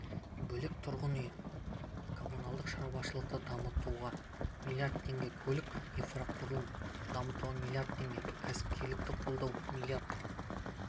бөлек тұрғын үй-коммуналдық шаруашылықты дамытуға млрд теңге көлік инфрақұрылымын дамытуға млрд теңге кәсіпкерлікті қолдауға млрд